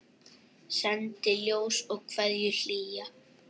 Sendi ljós og kveðju hlýja.